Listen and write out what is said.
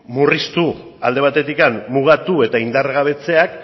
murriztu alde batetik mugatu eta indargabetzeak